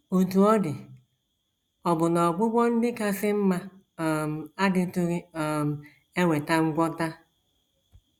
Otú ọ dị, ọbụna ọgwụgwọ ndị kasị mma um adịtụghị um eweta ngwọta.